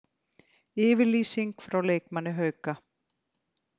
Yfirlýsing frá leikmanni Hauka